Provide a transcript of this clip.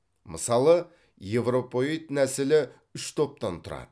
мысалы еуропоид нәсілі үш топтан тұрады